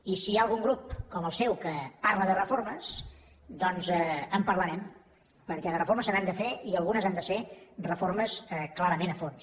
i si hi ha algun grup com el seu que parla de reformes doncs en parlarem perquè de reformes se n’han de fer i algunes han de ser reformes clarament a fons